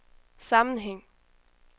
sammenhæng